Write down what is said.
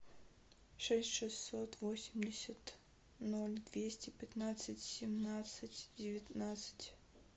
шесть шестьсот восемьдесят ноль двести пятнадцать семнадцать девятнадцать